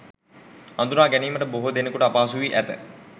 හඳුනා ගැනීමට බොහෝ දෙනෙකුට අපහසු වී ඇත.